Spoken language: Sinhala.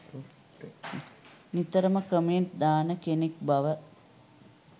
නිතරම කමෙන්ට් දාන කෙනන් බව